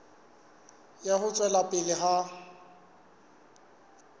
ya ho tswela pele ha